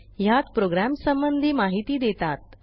ह्यात प्रोग्रॅमसंबंधी माहिती देतात